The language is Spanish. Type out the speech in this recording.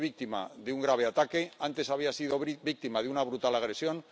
Ayer fue víctima de un grave ataque, antes había sido víctima de una brutal agresión.